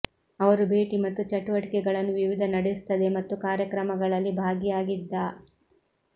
ಅವರು ಭೇಟಿ ಮತ್ತು ಚಟುವಟಿಕೆಗಳನ್ನು ವಿವಿಧ ನಡೆಸುತ್ತದೆ ಮತ್ತು ಕಾರ್ಯಕ್ರಮಗಳಲ್ಲಿ ಭಾಗಿಯಾಗಿದ್ದ